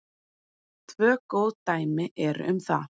Tvö góð dæmi eru um það.